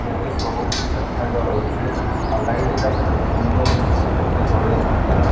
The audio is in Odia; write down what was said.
ସେଥିରେ ସବୁକିଛି ଦେଖାଯାଉଅଛି। ଆଉ ଲାଇଟଯାକ କେତେ ସୁନ୍ଦର ଦିଶୁଚି। କେତେ ଜଳେଇଚନ୍ତି।